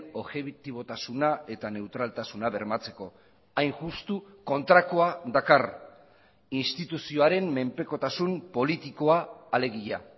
objetibotasuna eta neutraltasuna bermatzeko hain justu kontrakoa dakar instituzioaren menpekotasun politikoa alegia